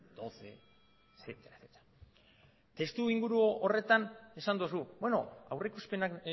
doce etcétera etcétera testuinguru horretan esan duzu beno aurrikuspenak